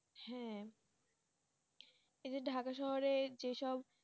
হ্যাঁ এই যে ডাকা শহরে যে সব